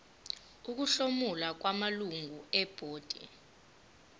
ukuhlomula kwamalungu ebhodi